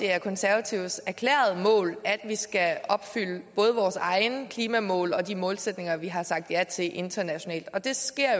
er konservatives erklærede mål at vi skal opfylde både vores egne klimamål og de målsætninger vi har sagt ja til internationalt og det